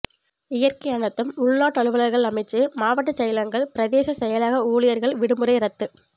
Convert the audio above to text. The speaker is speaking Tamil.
இயற்கை அனர்த்தம் உள்நாட்டலுவல்கள் அமைச்சு மாவட்டச் செயலகங்கள் பிரதேச செயலக ஊழியர்கள் விடுமுறை இரத்து